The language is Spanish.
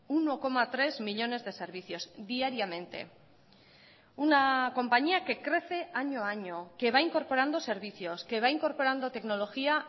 uno coma tres millónes de servicios diariamente una compañía que crece año a año que va incorporando servicios que va incorporando tecnología